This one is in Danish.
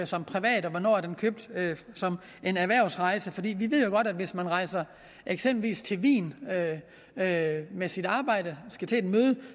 som privat og hvornår den er købt som en erhvervsrejse for vi ved jo godt at hvis man rejser eksempelvis til wien med med sit arbejde og skal til et møde